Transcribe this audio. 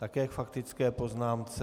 Také k faktické poznámce.